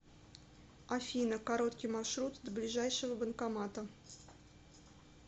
афина короткий маршрут до ближайшего банкомата